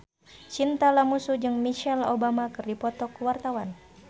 Chintya Lamusu jeung Michelle Obama keur dipoto ku wartawan